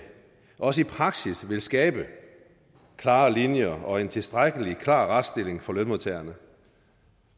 også i praksis vil skabe klare linjer og en tilstrækkelig klar retsstilling for lønmodtagerne